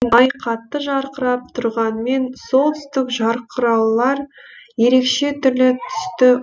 ай қатты жарқырап тұрғанмен солтүстік жарқыраулар ерекше түрлі түсті